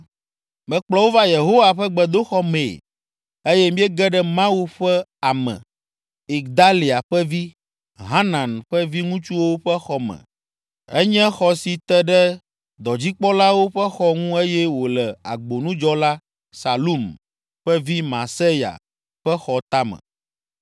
Mekplɔ wo va Yehowa ƒe gbedoxɔ mee eye míege ɖe Mawu ƒe ame, Igdalia ƒe vi, Hanan ƒe viŋutsuwo ƒe xɔ me enye xɔ si te ɖe dɔdzikpɔlawo ƒe xɔ ŋu eye wòle agbonudzɔla, Salum ƒe vi Maaseya ƒe xɔ tame.